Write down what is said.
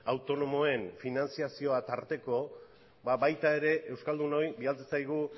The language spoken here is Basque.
autonomoen finantziazioa tarteko baita ere euskaldunoi bidaltzen zaigu